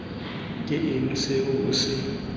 ke eng se o se